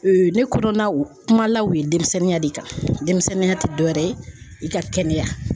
ne kɔnɔ u kuma la u ye denmisɛnninya de kan, denmisɛnninya tɛ dɔ wɛrɛ ye i ka kɛnɛya.